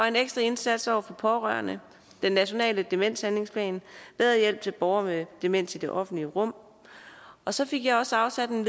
en ekstra indsats over for pårørende den nationale demenshandlingsplan bedre hjælp til borgere med demens i det offentlige rum og så fik jeg også afsat en